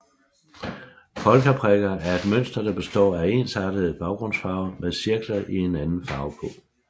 Polkaprikker er et mønster der består af en ensartet baggrundsfarve med cirkler i en anden farve på